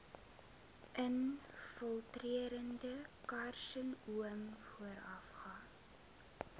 infiltrerende karsinoom voorafgaan